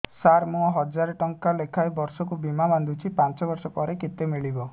ସାର ମୁଁ ହଜାରେ ଟଂକା ଲେଖାଏଁ ବର୍ଷକୁ ବୀମା ବାଂଧୁଛି ପାଞ୍ଚ ବର୍ଷ ପରେ କେତେ ମିଳିବ